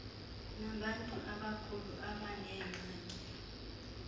nabantu abakhulu abaneengxaki